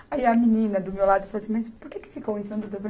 Aí a menina do meu lado falou assim, mas por que que ficou um em cima do outro?